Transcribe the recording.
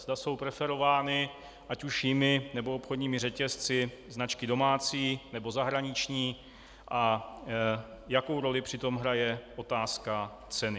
Zda jsou preferovány, ať už jimi, nebo obchodními řetězci, značky domácí, nebo zahraniční a jakou roli při tom hraje otázka ceny.